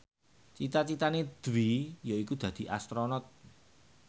cita citane Dwi yaiku dadi Astronot